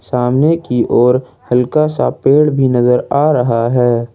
सामने की ओर हल्का सा पेड़ भी नजर आ रहा है।